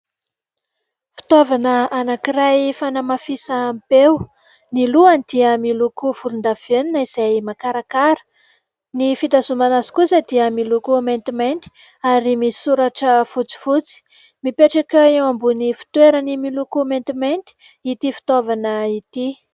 Fitaovana anankiray fanamafisam-peo : ny lohany dia miloko volondavenona izay makarakara, ny fitazomana azy kosa dia miloko maintimainty ary misy soratra fotsifotsy. Mipetraka eo ambony fitoerany miloko maintimainty ity fitaovana ity.